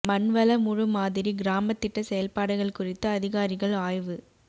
மண்வள முழு மாதிரி கிராம திட்ட செயல்பாடுகள் குறித்து அதிகாரிகள் ஆய்வு